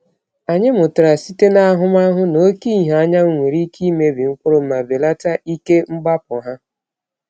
Anyị mụtara site n’ahụmahụ na oke ìhè anyanwụ nwere ike imebi mkpụrụ ma belata ike mgbapụ ha.